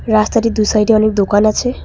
রাস্তাটির দু' সাইডে অনেক দোকান আছে।